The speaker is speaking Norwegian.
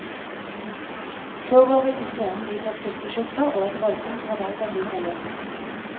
Så går vi på scenen iført silkeskjorter, og et voldsomt rabalder bryter løs.